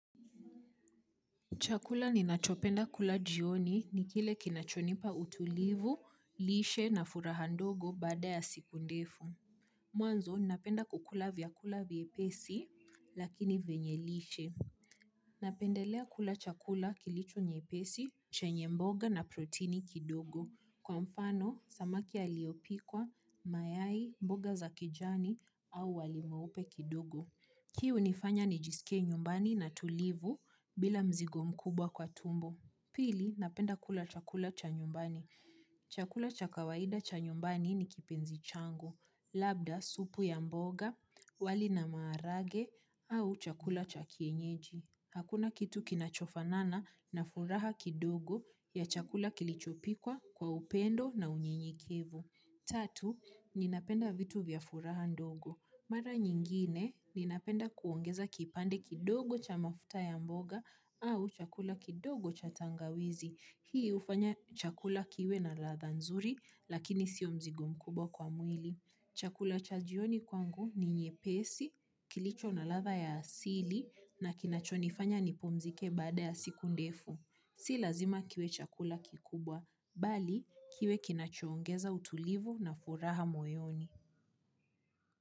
Chakula ninachopenda kula jioni ni kile kinacho nipa utulivu, lishe na furaha ndogo baada ya siku ndefu. Mwanzo, ninapenda kukula vyakula vyepesi lakini vyenye lishe. Napendelea kula chakula kilicho nyepesi, chenye mboga na protini kidogo. Kwa mfano, samaki aliopikwa, mayai, mboga za kijani au wali waupe kidogo. Hii unifanya nijisike nyumbani na tulivu bila mzigo mkubwa kwa tumbo. Pili, napenda kula chakula cha nyumbani. Chakula cha kawaida cha nyumbani ni kipenzi changu. Labda, supu ya mboga, wali na maharagwe, au chakula cha kienyeji. Hakuna kitu kinachofa nana na furaha kidogo ya chakula kilichopikwa kwa upendo na unyenyekevu. Tatu, nina penda vitu vya furaha ndogo. Mara nyingine, nina penda kuongeza kipande kidogo cha mafuta ya mboga au chakula kidogo cha tangawizi. Hii hhfanya chakula kiwe na ladha nzuri, lakini sio mzigo mkubwa kwa mwili. Chakula cha jioni kwangu ni nyepesi, kilicho na ladha ya asili na kinachonifanya nipumzike baada ya siku ndefu. Si lazima kiwe chakula kikubwa, bali kiwe kinacho ongeza utulivu na furaha moyoni.